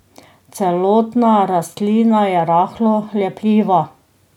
Celotna rastlina je rahlo lepljiva.